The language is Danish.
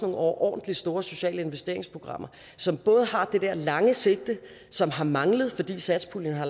overordentlig store sociale investeringsprogrammer som både har det der lange sigte som har manglet fordi satspuljen har